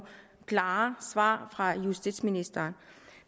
klare svar fra justitsministeren